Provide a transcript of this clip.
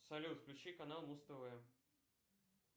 салют включи канал муз тв